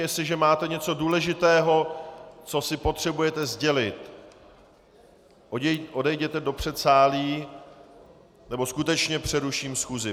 Jestliže máte něco důležitého, co si potřebujete sdělit, odejděte do předsálí, nebo skutečně přeruším schůzi.